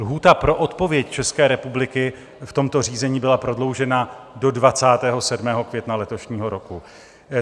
Lhůta pro odpověď České republiky v tomto řízení byla prodloužena do 27. května letošního roku.